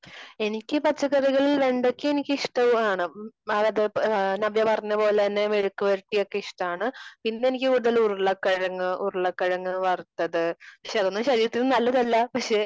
എനിക്ക് പച്ചക്കറികളിൽ വെണ്ടയ്ക്ക എനിക്ക് ഇഷ്ടമാണ്. നവ്യ പറഞ്ഞ പോലെ തന്നെ മെഴുക്ക് പുരട്ടി ഒക്കെ ഇഷ്ടമാണ്. പിന്നെ എനിക്കുള്ളത് ഉരുളക്കിഴങ്ങ് വറുത്തത്. പക്ഷേ അതൊന്നും ശരീരത്തിന് നല്ലതല്ല പക്ഷേ